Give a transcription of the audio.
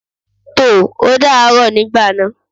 Tò, ó dàá rọ̀ nígbà náà.